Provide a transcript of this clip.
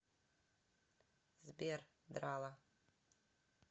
сбер драла